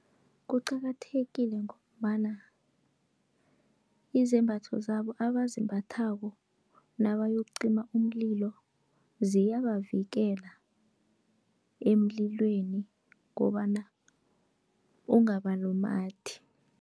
Kuqakathekile ngombana izembatho zabo abazimbathako nabayokucima umlilo, ziyabavikela emlilweni kobana ungabalumathi.